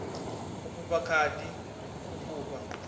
u fhufha khadi u fhufha